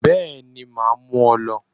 Bẹ́ẹ̀ni màá mú ọ lọ